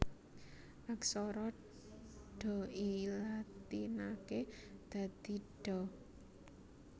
Aksara Dha dilatinaké dadi Dha